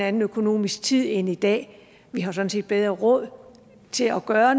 anden økonomisk tid end i dag vi har sådan set bedre råd til at gøre